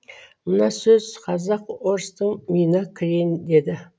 мына сөз казак орыстың миына кірейін деді